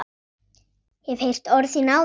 Hef heyrt orð þín áður.